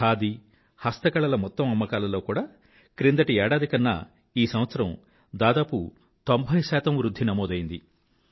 ఖాదీ హస్తకళల మొత్తం అమ్మకాలలో కూడా క్రిందటి ఏడాది కన్నా ఈ సంవత్సరం దాదాపు తొంభై శాతం వృధ్ధి నమోదైంది